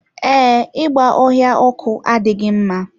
Ee, ịgba ọhịa ọkụ adịghị mma.